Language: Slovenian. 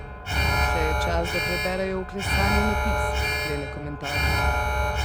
Še je čas, da preberejo vklesani napis, sklene komentator.